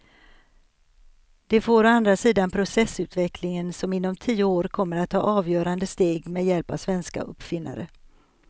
Det får å andra sidan processorutvecklingen som inom tio år kommer att ta avgörande steg med hjälp av svenska uppfinnare.